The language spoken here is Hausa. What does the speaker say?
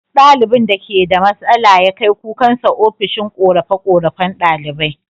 Duk ɗalibin da keda matsala ya kai kukansa ofishin korafe korafen ɗalibai